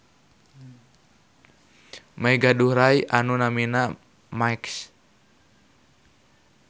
May gaduh rai anu namina Max.